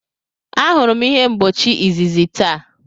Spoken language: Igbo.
Ahụrụ m ihe mgbochi izizi taa.